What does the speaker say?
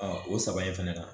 o saba in fɛnɛ na